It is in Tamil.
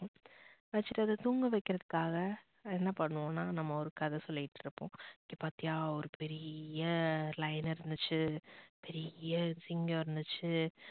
வச்சிட்டு அத தூங்க வைக்கிறதுகாக என்னா பண்ணுவோம்னா நம்ப ஒரு கதை சொல்லிட்டு இருப்போம். இங்க பாத்தியா ஒரு பெரிய lion இருந்துச்சு பெரிய சிங்கம் இருந்துச்சு